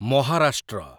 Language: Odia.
ମହାରାଷ୍ଟ୍ର